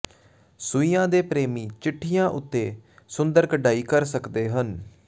ਸੂਈਆਂ ਦੇ ਪ੍ਰੇਮੀ ਚਿੱਠੀਆਂ ਉੱਤੇ ਸੁੰਦਰ ਕਢਾਈ ਕਰ ਸਕਦੇ ਹਨ